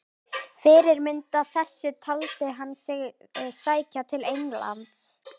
Fyrirmynd að þessu taldi hann sig sækja til Englands.